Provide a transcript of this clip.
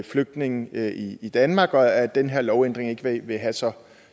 flygtninge i i danmark og at den her lovændring ikke vil have så